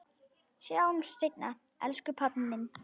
Sjáumst seinna elsku pabbi minn.